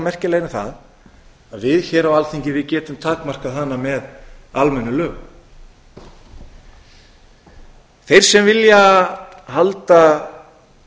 merkilegri en það að við hér á alþingi getum takmarkað hana með almennum lögum þeir sem vilja halda